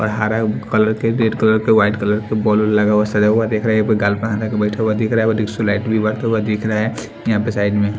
आ रहा कलर के red colour के वाइट कलर के बॉल लगा हुआ सजा हुआ दिख रहा है गाल प हात लगा के बैठा हुआ दिख रहा है और डिस्को लाइट भी बढ़ता हुआ दिख रहा है यहां पे साइड में --